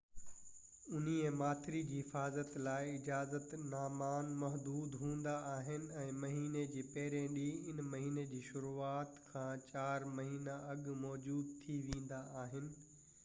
اونهي ماٿري جي حفاظت لاءِ اجازت نامان محدود هوندا آهن ۽ مهيني جي پهرين ڏينهن ان مهيني جي شروعات کان چار مهينا اڳ موجود ٿي ويندا آهن